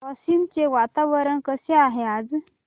वाशिम चे वातावरण कसे आहे आज